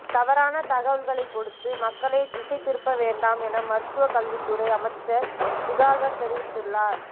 தவறான தகவல்களைக் கொடுத்து மக்களை திசை திருப்ப வேண்டாம் என மருத்துவக் கல்வித்துறை அமைச்சா் சுதாகா் தெரிவித்துள்ளாா்